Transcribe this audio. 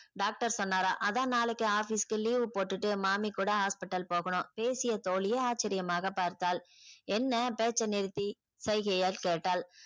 doctor சொன்னாரா அதான் நாளைக்கு office க்கு leave போட்டுட்டு மாமி கூட hospital போகணும் பேசிய தோழியே ஆச்சரியமாக பார்த்தாள் என்ன பேச்ச நிறுத்தி சைகையால் கேட்டாள்.